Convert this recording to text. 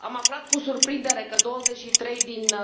Am aflat cu surprindere că douăzeci și trei din